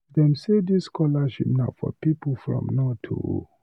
Dem sey dis scholarship na for pipu from north o.